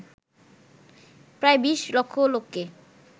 প্রায় বিশ লক্ষ লোককে